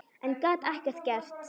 En gat ekkert gert.